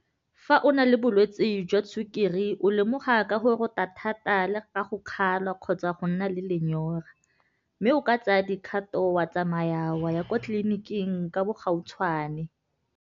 Fa o na le bolwetse jwa sukiri o lemoga ka go rota thata le ga go kgalwa kgotsa go nna le lenyora mme o ka tsaya dikgato wa tsamaya wa ya kwa tleliniking ka bogautshwane.